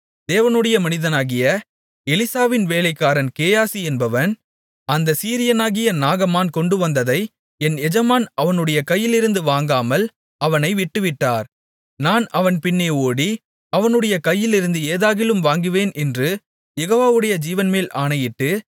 தேவனுடைய மனிதனாகிய எலிசாவின் வேலைக்காரன் கேயாசி என்பவன் அந்தச் சீரியனாகிய நாகமான் கொண்டுவந்ததை என் எஜமான் அவனுடைய கையிலிருந்து வாங்காமல் அவனை விட்டுவிட்டார் நான் அவன் பின்னே ஓடி அவனுடைய கையிலிருந்து ஏதாகிலும் வாங்குவேன் என்று யெகோவாவுடைய ஜீவன்மேல் ஆணையிட்டு